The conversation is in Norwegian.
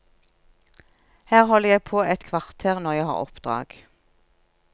Her holder jeg på et kvarter når jeg har oppdrag.